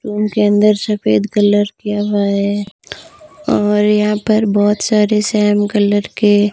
room के अंदर सफेद कलर किया हुआ है और यहां पर बहोत सारे सेम कलर के--